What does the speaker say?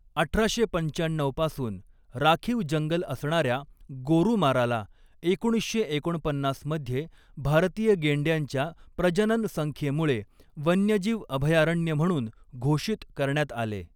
अठराशे पंचाण्णऊ पासून राखीव जंगल असणाऱ्या गोरुमाराला एकोणीसशे एकोणपन्नास मध्ये भारतीय गेंड्यांच्या प्रजनन संख्येमुळे वन्यजीव अभयारण्य म्हणून घोषित करण्यात आले.